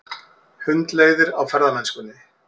Hundleiðir á ferðamennskunni